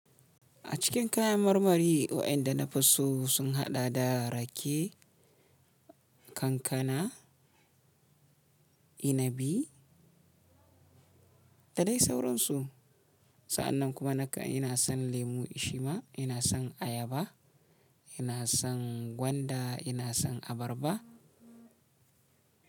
A cikin kayan marmari waɗanda na fi so sun haɗa da rake, kankana, inabi da dai sauran su. Sa'annan kuma naka ina son lemu shima, ina son ayaba, ina son gwanda, ina son abarba.